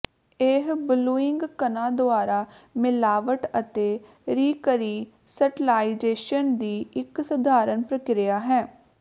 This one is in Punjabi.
ਇਹ ਬਲੂਇੰਗ ਕਣਾਂ ਦੁਆਰਾ ਮਿਲਾਵਟ ਅਤੇ ਰੀਕਰੀਸਟਲਾਈਜੇਸ਼ਨ ਦੀ ਇੱਕ ਸਧਾਰਨ ਪ੍ਰਕਿਰਿਆ ਹੈ